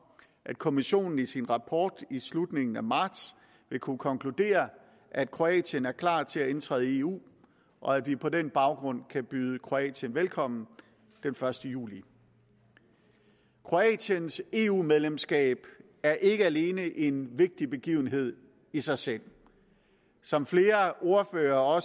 at kommissionen i sin rapport i slutningen af marts vil kunne konkludere at kroatien er klar til at indtræde i eu og at vi på den baggrund kan byde kroatien velkommen den første juli kroatiens eu medlemskab er ikke alene en vigtig begivenhed i sig selv som flere ordførere